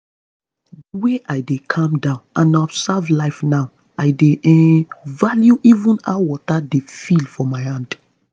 the way i dey calm down and observe life now i dey um value even how water dey feel for my hand.